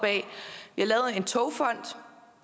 lavet en togfond